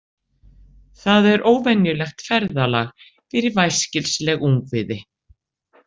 Það er óvenjulegt ferðalag fyrir væskilsleg ungviði